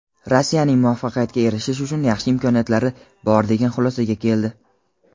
Rossiyaning "muvaffaqiyatga erishish uchun yaxshi imkoniyatlari" bor degan xulosaga keldi.